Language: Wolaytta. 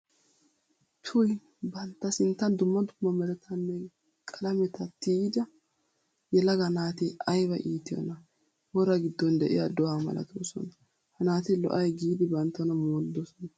Tuy! Bantta sinttan dumma dumma merattanne qalametta tiyidda yelaga naati aybba iittiyona wora gidon de'iya do'a malatossonna. Ha naati lo'ay giidi banttana mooridsonna.